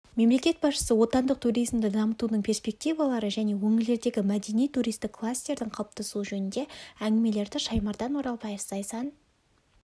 мемлекет басшысы отандық туризмді дамытудың перспективалары және өңірлердегі мәдени-туристік кластердің қалыптасуы жөнінде әңгімеледі шаймардан оралбаев зайсан